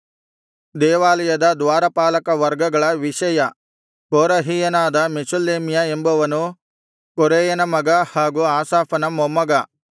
ದೇವಾಲಯದ ದ್ವಾರಪಾಲಕ ವರ್ಗಗಳ ವಿಷಯ ಕೋರಹೀಯನಾದ ಮೆಷೆಲೆಮ್ಯ ಎಂಬವನು ಕೊರೇಯನ ಮಗ ಹಾಗೂ ಆಸಾಫನ ಮೊಮ್ಮಗ